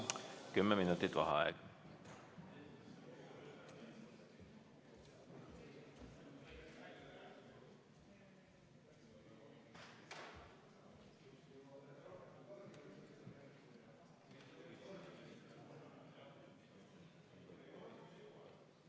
Kümme minutit vaheaega.